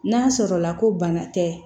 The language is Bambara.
N'a sɔrɔ la ko bana tɛ